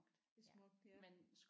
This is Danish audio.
Det er smukt ja